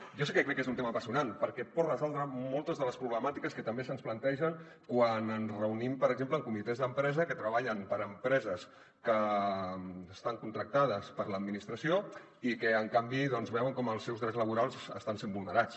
jo sí que crec que és un tema apassionant perquè pot resoldre moltes de les problemàtiques que també se’ns plantegen quan ens reunim per exemple amb comitès d’empresa que treballen per a empreses que estan contractades per l’administració i que en canvi veuen com els seus drets laborals estan sent vulnerats